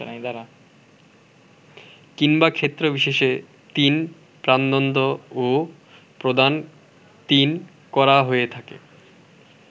কিংবা ক্ষেত্রবিশেষে৩প্রাণদণ্ডও প্রদান৩করা হয়ে থাকে